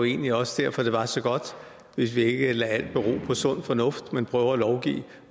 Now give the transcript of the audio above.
egentlig også derfor at det var så godt hvis vi ikke lader alt bero på sund fornuft men prøver at lovgive